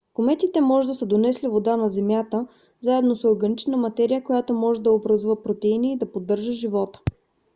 кометите може да са донесли вода на земята заедно с органична материя която може да образува протеини и да поддържа живот